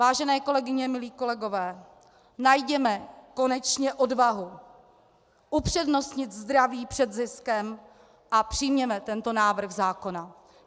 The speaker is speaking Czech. Vážené kolegyně, milí kolegové, najděme konečně odvahu upřednostnit zdraví před ziskem a přijměme tento návrh zákona.